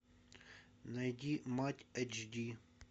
найди мать эйч ди